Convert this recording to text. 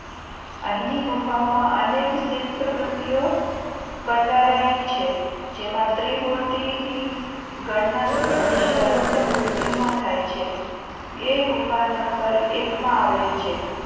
અહીંની ગુફાઓમાં અનેક સુંદર શિલ્પકૃતિઓ કંડારાઈ છે જેમાં ત્રિમૂર્તિ ની બ્રહ્મા, વિષ્ણુ અને મહેશ ની ગણના દુનિયાની સર્વોત્તમ મૂર્તિઓમાં થાય છે. એ ગુફા નંબર એક માં આવેલી છે.